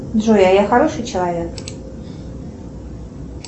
джой а я хороший человек